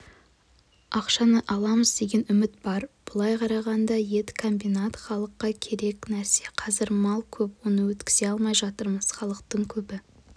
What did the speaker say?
ақшаны аламыз деген үміт бар былай қарағанда ет комбинат халыққа керек нәрсе қазір мал көп оны өткізе алмай жатырмыз халықтың көбі